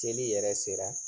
Seli yɛrɛ sera